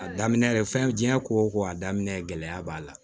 A daminɛ fɛn diɲɛ ko o ko a daminɛ gɛlɛya b'a la